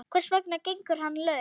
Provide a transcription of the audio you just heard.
Hvers vegna gengur hann laus?